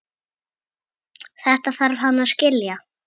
Þetta þarf hann að skilja.